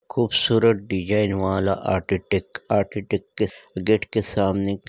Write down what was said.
खूबसूरत डिज़ाइन वाला architect architect के अह गेट के सामने--